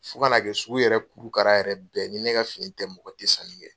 Fo kana kɛ sugu yɛrɛ kurukara yɛrɛ bɛɛ ni ne ka fini tɛ mɔgɔ tɛ sanni kɛ.